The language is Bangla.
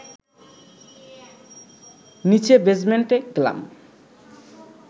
নীচে বেসমেন্টে গেলাম